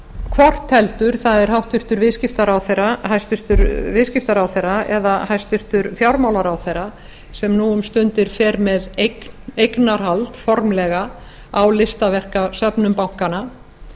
hvort heldur það er hæstvirtur viðskiptaráðherra eða hæstvirtur fjármálaráðherra sem nú um stundir fer með eignarhald formlega á listaverkasöfnum bankanna